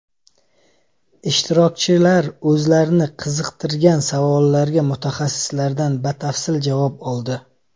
Ishtirokchilar o‘zlarini qiziqtirgan savollarga mutaxassislardan batafsil javob oldi.